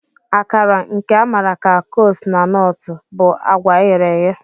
Akara, nke a maara ka kose na Nortụ, bụ agwa eghere eghe.